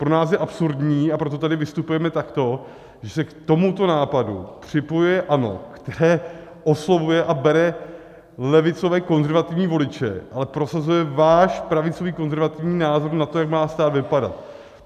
Pro nás je absurdní, a proto tady vystupujeme takto, že se k tomuto nápadu připojuje ANO, které oslovuje a bere levicové konzervativní voliče, ale prosazuje váš pravicový konzervativní názor na to, jak má stát vypadat.